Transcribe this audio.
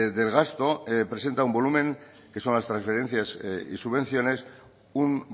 del gasto presenta un volumen que son las transferencias y subvenciones un